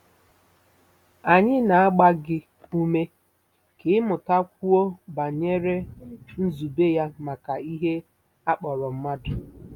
Anyị na-agba gị ume ka ị mụtakwuo banyere nzube ya maka ihe a kpọrọ mmadụ.